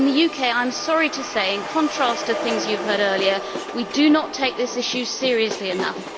In the UK, I am sorry to say, in contrast to things you have heard earlier, we do not take this issue seriously enough.